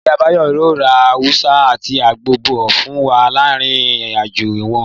Ìyá Báyọ̀ yóò ra awùsá àti àgbọn bọ̀ fún wa láti ìrìn-àjò wọn